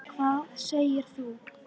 Hvað segir þú?